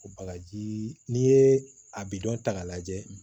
O bagajii n'i ye a bidɔn ta k'a lajɛ